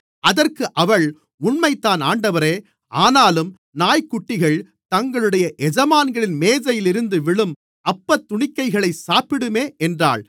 அதற்கு அவள் உண்மைதான் ஆண்டவரே ஆனாலும் நாய்க்குட்டிகள் தங்களுடைய எஜமான்களின் மேஜையிலிருந்து விழும் அப்பத்துணிக்கைகளைச் சாப்பிடுமே என்றாள்